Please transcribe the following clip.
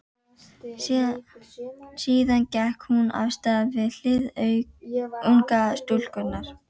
Síðan gekk hún af stað við hlið ungu stúlkunnar.